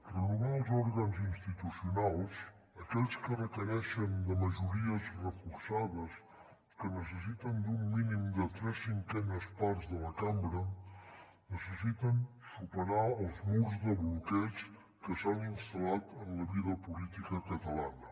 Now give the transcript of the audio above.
renovar els òrgans institucionals aquells que requereixen de majories reforçades que necessiten d’un mínim de tres cinquenes parts de la cambra necessiten superar els murs de bloqueig que s’han instal·lat en la vida política catalana